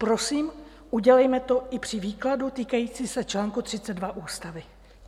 Prosím, udělejme to i při výkladu týkající se čl. 32 Ústavy.